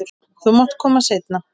Þú mátt koma seinna.